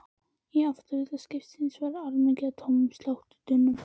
Í afturhluta skipsins var og allmikið af tómum stáltunnum.